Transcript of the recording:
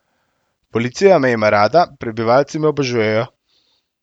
Policija me ima rada, prebivalci me obožujejo.